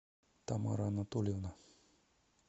тамара анатольевна